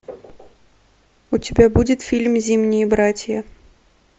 у тебя будет фильм зимние братья